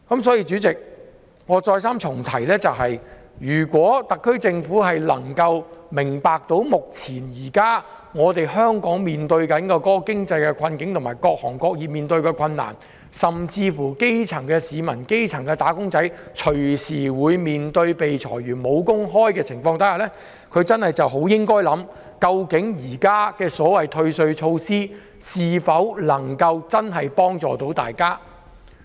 因此，主席，我再三重申，如果特區政府能夠明白目前香港面對的經濟困境及各行各業面對的困難，基層市民、"打工仔"隨時被裁員、面對失業，它真的應該想想，現時所謂的退稅措施能否真的可以幫助大家。